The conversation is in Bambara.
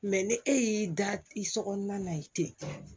ni e y'i da i so kɔnɔna na i ten